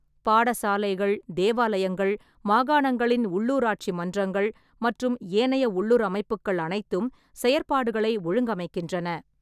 பாடசாலைகள், தேவாலயங்கள், மாகாணங்களின் உள்ளூராட்சி மன்றங்கள் மற்றும் ஏனைய உள்ளூர் அமைப்புக்கள் அனைத்தும் செயற்பாடுகளை ஒழுங்கமைக்கின்றன.